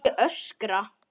Ég öskra.